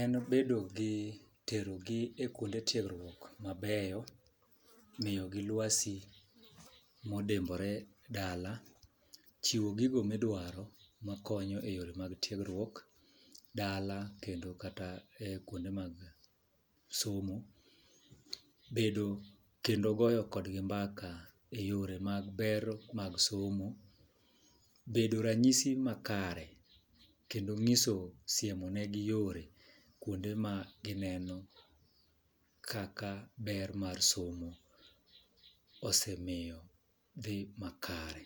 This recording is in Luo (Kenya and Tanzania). En bedo gi tero gi e kuonde tiegruok mabeyo, miyo gi lwasi modimbore dala , chiwo gigo midwaro makonyo e yore mag tiegruok dala kendo e kuonde mag somo, bedo kendo goyo kodgi mbaka eyore mag ber mar somo , bedo ranyisi makare kendo ng'iso siemo ne gi yore kuonde ma gineno kaka ber mar somo osemiyo dhi makare.